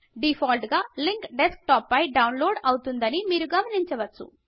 default గా link desktop పైకి download అవుతుందని మీరు గమనించవచ్చు